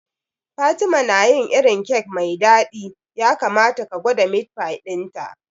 Fatima na yin irin kek mai dadi, ya kamata ka gwada meat pie dinta.